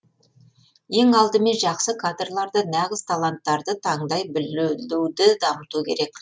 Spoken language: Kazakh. ең алдымен жақсы кадрларды нағыз таланттарды таңдай білуді дамыту керек